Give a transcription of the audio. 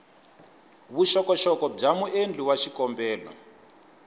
vuxokoxoko bya muendli wa xikombelo